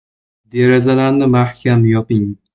Derazalarni mahkam yoping.